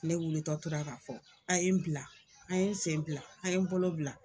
Ne wilitɔ tora k'a fɔ a' ye n bila, a' ye n sen bila, a' ye n bolo bila